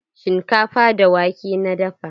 Shinkafa da wake na dafa.